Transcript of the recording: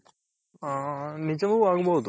ಹಾ ನಿಜವು ಆಗ್ಬೋದು.